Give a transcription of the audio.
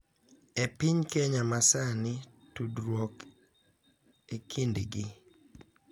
E piny Kenya ma sani, tudruok e kindgi